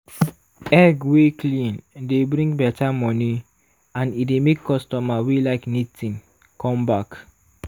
egg wey clean dey bring better money and e dey make customer wey like neat thing come back.